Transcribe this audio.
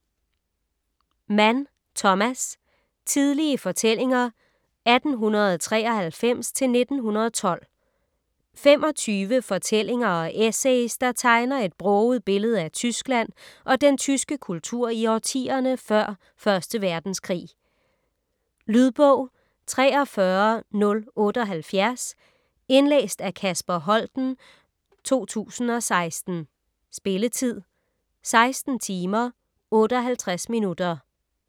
Mann, Thomas: Tidlige fortællinger 1893-1912 25 fortællinger og essays, der tegner et broget billede af Tyskland og den tyske kultur i årtierne før 1. verdenskrig. Lydbog 43078 Indlæst af Kasper Holten, 2016. Spilletid: 16 timer, 58 minutter.